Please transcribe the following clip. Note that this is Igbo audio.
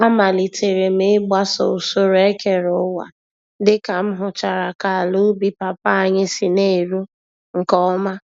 Amalitere m ịgbaso usoro ekere-ụwa dịka m hụchara ka àlà-ubi Papa anyị si n'eru nke ọma.